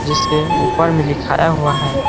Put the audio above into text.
जिसके ऊपर में लिखाया हुआ हैं।